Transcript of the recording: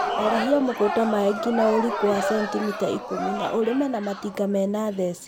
Arahia mũgũnda maĩ nginyagia ũriku wa sentimita ikũmi na ũlĩme na matinga mena theci